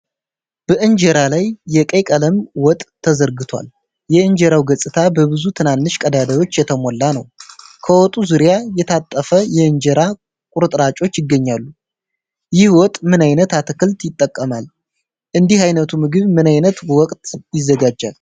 በእንጀራ ላይ የቀይ ቀለም ወጥ ተዘርግቷል። የእንጀራው ገጽታ በብዙ ትናንሽ ቀዳዳዎች የተሞላ ነው። ከወጡ ዙሪያ የታጠፈ የእንጀራ ቁርጥራጮች ይገኛሉ። ይህ ወጥ ምን ዓይነት አትክልት ይጠቀማል? እንዲህ አይነቱ ምግብ ምን ዓይነት ወቅት ይዘጋጃል?